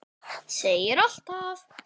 Seigur alltaf.